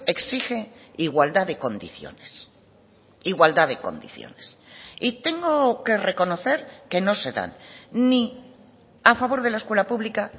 exige igualdad de condiciones igualdad de condiciones y tengo que reconocer que no se dan ni a favor de la escuela pública